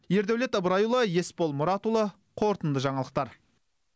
ердәулет ыбырайұлы есбол мұратұлы қорытынды жаңалықтар